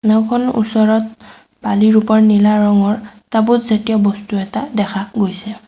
নাওঁখনৰ ওচৰত বালিৰ ওপৰত নীলা ৰঙৰ টাবুত জাতীয় বস্তু এটা দেখা গৈছে।